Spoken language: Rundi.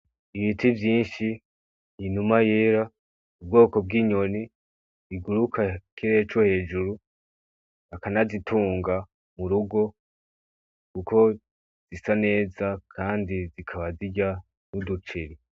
Ibiti vyinshi inuma yera ubwoko bw'inyoni iguruka kiree co hejuru akanazitunga mu rugo uko zisa neza, kandi zikaba zirya nuduciri.